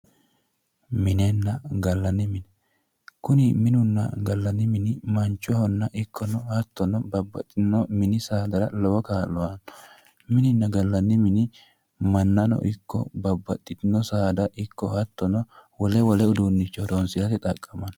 Minenna gallanni mine, kuni minunna gallanni mini manchohono ikko hattono babbaxxino mini saada lowo kaa'lo aanno, minunna gallanni mini mannano ikko babbaxxitino saada ikko wole wole uduunnicho horonsirate xaqqamanno.